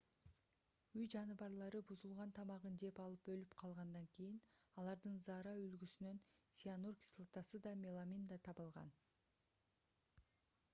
үй жаныбарлары бузулган тамагын жеп алып өлүп калгандан кийин алардын заара үлгүсүнөн цианур кислотасы да меламин да табылган